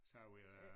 Så vil jeg